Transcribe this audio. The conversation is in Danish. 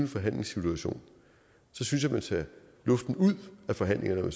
forhandlingssituation så synes jeg man tager luften ud af forhandlingerne om